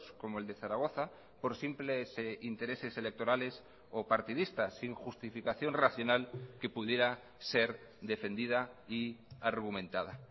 como el de zaragoza por simples intereses electorales o partidistas sin justificación racional que pudiera ser defendida y argumentada